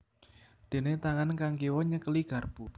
Déné tangan kang kiwa nyekeli garpu